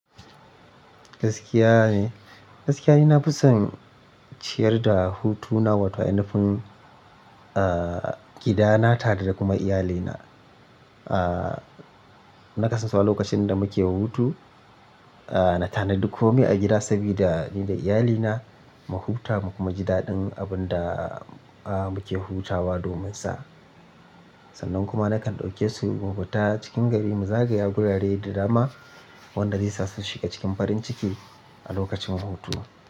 Gaskiya ne, gaskiya ne na fi son ciyar da hutu na, wato inufun, ah, gidana tare da kuma iyalina. Ah, na kasansu wa lokacin da muke hutu, ah, na tanadi komai a gida sabida ni da iyalina mu huta mu kuma ji daɗin abun da, ah, muke hutawa dominsa. Sannan kuma nakan ɗauke su mu fita cikin gari, mu zagaya wurare da dama waɗanda zai sasu shiga cikin farin ciki a lokacin hutu.